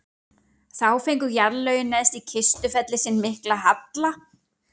þá fengu jarðlögin neðst í kistufelli sinn mikla halla